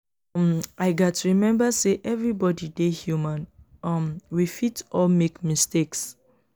um i gats remember say everybody dey human; um we fit all make mistakes.